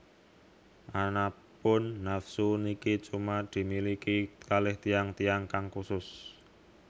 Anapun nafsu niki cuma dimiliki kaleh tiyang tiyang kang khusus